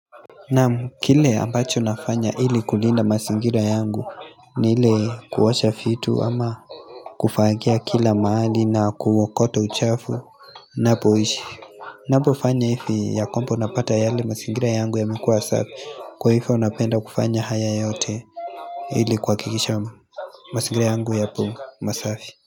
Naam kile ambacho nafanya ili kulinda mazingira yangu ni ile kuosha vitu ama Kufagia kila mahali na kuokota uchafu Napoishi Napofanya hivi ya kwamba unapata yale mazingira yangu yamekua safi kwa hivyo napenda kufanya haya yote Hili kuhakikishama mazingira yangu yapo masafi.